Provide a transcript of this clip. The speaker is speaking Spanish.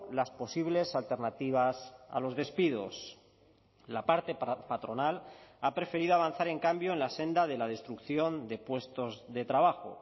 las posibles alternativas a los despidos la parte patronal ha preferido avanzar en cambio en la senda de la destrucción de puestos de trabajo